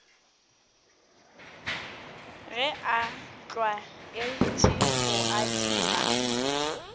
ge a tlwaetše go adima